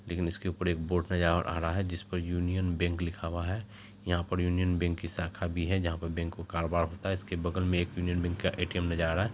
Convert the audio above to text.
लेकिन इसके ऊपर एक बोर्ड नजर आ रहा है जिस पर यूनियन बैंक लिखा हुआ है यहां पर यूनियन बैंक की शाखा भी है जहां पर बैंक का कारोबार होता है इसके बगल में एक यूनियन बैंक का ए_टी_एम नजर आ रहा है।